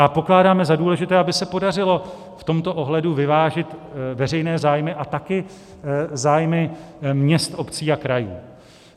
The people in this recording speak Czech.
A pokládáme za důležité, aby se podařilo v tomto ohledu vyvážit veřejné zájmy a také zájmy měst, obcí a krajů.